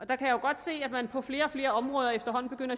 der kan jeg godt se at man på flere og flere områder efterhånden